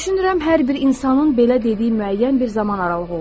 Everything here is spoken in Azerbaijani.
Düşünürəm hər bir insanın belə dediyi müəyyən bir zaman aralığı olur.